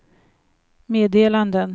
meddelanden